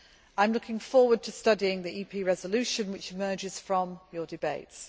I am looking forward to studying the EU resolution which emerges from your debates.